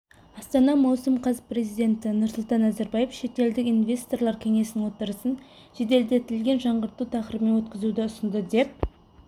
астана маусым қаз президенті нұрсұлтан назарбаев шетелдік инвесторлар кеңесінің отырысын жеделдетілген жаңғырту тақырыбымен өткізуді ұсынды деп